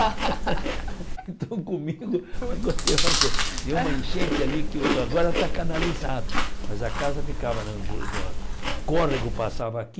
Então comigo, deu uma enchente ali, que agora está canalizado, mas a casa ficava na na, o córrego passava aqui,